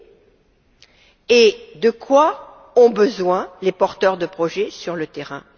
Or, de quoi ont besoin les porteurs de projets sur le terrain?